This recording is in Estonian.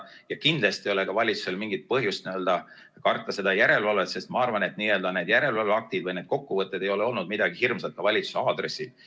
Ja kindlasti ei ole ka valitsusel mingit põhjust karta seda järelevalvet, sest ma arvan, et need järelevalveaktid või need kokkuvõtted ei ole olnud midagi hirmsat ka valitsuse aadressil.